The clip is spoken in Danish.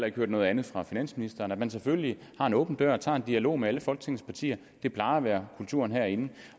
ikke hørt noget andet fra finansministeren at man selvfølgelig har en åben dør og tager en dialog med alle folketingets partier det plejer at være kulturen herinde